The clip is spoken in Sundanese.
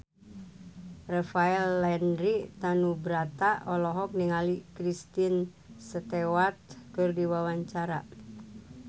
Rafael Landry Tanubrata olohok ningali Kristen Stewart keur diwawancara